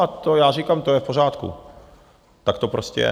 A to já říkám, to je v pořádku, tak to prostě je.